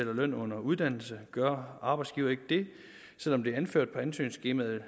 løn under uddannelse gør arbejdsgiveren ikke det selv om det er anført på ansøgningsskemaet vil